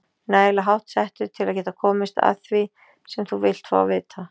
Nægilega háttsettur til að geta komist að því, sem þú vilt fá að vita